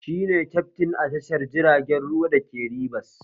Shi kyaftin a tashar jiragen ruwa da ke Ribas